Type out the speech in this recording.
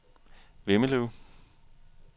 Vemmelev